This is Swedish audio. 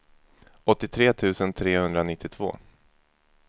åttiotre tusen trehundranittiotvå